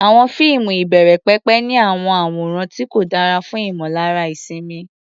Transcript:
Àwọn fíìmù ìbẹ̀rẹ̀pẹ̀pẹ̀ ní àwọn àwòrán tí kò dára fún ìmọ̀lára ìsinmi.